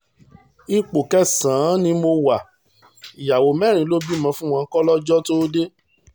ipò kẹsàn-án ni mo wá ìyàwó mẹ́rin lọ bímọ fún wọn kólọ́jọ́ tóo dé